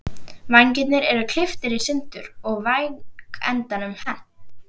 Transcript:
Vængirnir eru klipptir í sundur og vængendanum hent.